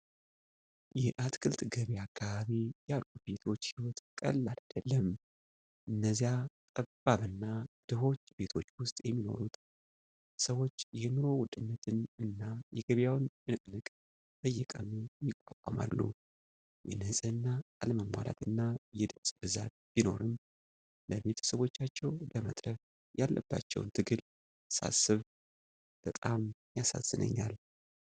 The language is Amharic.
የአትክልት ገበያ አካባቢ ያሉ ቤቶች ሕይወት ቀላል አይደለም። እነዚያ ጠባብ እና ድሆች ቤቶች ውስጥ የሚኖሩት ሰዎች የኑሮ ውድነትን እና የገበያውን ጭንቅንቅ በየቀኑ ይቋቋማሉ። የንጽህና አለመሟላትና የድምፅ ብዛት ቢኖርም፣ ለቤተሰቦቻቸው ለመትረፍ ያለባቸውን ትግል ሳስብ በጣም ያሳዝነኛል።